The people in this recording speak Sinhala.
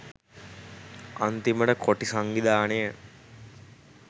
අන්තිමට කොටි සංවිධානය